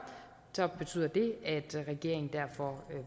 betyder det at regeringen derfor